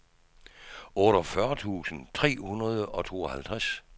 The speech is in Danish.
otteogfyrre tusind tre hundrede og tooghalvtreds